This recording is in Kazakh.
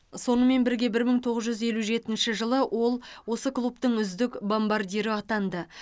сонымен бірге мың тоғыз жүз елу жетінші жылы ол осы клубтың үздік бомбардирі атанды